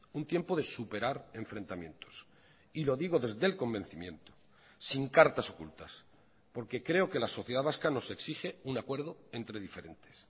un tiempo de superar enfrentamientos y lo digo desde el convencimiento sin cartas ocultas porque creo que la sociedad vasca nos exige un acuerdo entre diferentes